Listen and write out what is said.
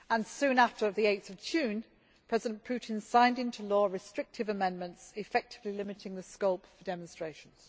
Soon after, on 8 June, President Putin signed into law restrictive amendments effectively limiting the scope for demonstrations.